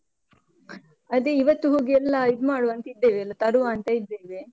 ಅದೇ ಇವತ್ತು ಹೋಗಿ ಎಲ್ಲ ಇದ್ಮಾಡುವ ಅಂತ ಇದ್ದೇವೆ, ಎಲ್ಲ ತರುವ ಅಂತ ಇದ್ದೇವೆ.